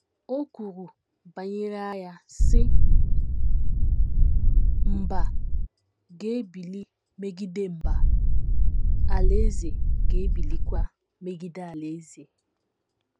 O kwuru banyere agha, sị: “ Mba ga - ebili megide mba, alaeze ga - ebilikwa megide alaeze. ”